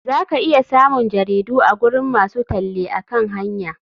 Za ka iya samun jaridu a gurin masu talle akan hanya.